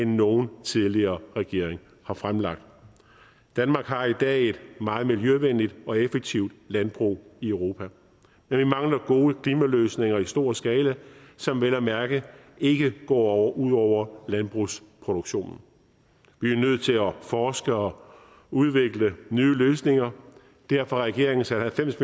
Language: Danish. nogen tidligere regering har fremlagt danmark har i dag et meget miljøvenligt og effektivt landbrug i europa men vi mangler gode klimaløsninger i stor skala som vel at mærke ikke går ud over landbrugsproduktionen vi er nødt til at forske og udvikle nye løsninger derfor har regeringen sat halvfems